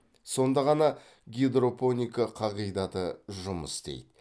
сонда ғана гидропоника қағидаты жұмыс істейді